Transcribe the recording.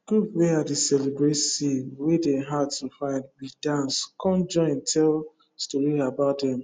group wey i dey celebrate seed wey dey hard to find with dance com join tell story about dem